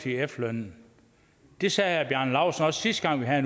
efterlønnen det sagde herre bjarne laustsen også sidste gang vi havde